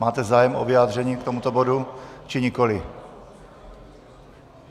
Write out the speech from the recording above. Máte zájem o vyjádření k tomuto bodu, či nikoli?